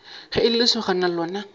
ge e le lesogana lona